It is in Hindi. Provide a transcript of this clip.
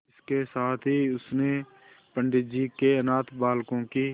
इसके साथ ही उसने पंडित जी के अनाथ बालकों की